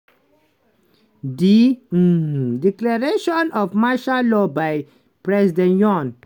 di um declaration of martial law by president yoon